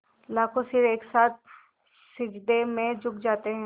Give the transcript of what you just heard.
लाखों सिर एक साथ सिजदे में झुक जाते हैं